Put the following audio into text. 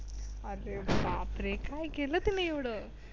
अरे बापरे काय केलं तुम्ही एवढं?